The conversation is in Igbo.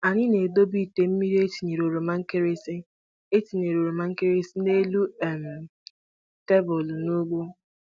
Anyị na-edobe ite mmiri e tinyere oromankịrịsị e tinyere oromankịrịsị n'elu um tebụl n'ugbo.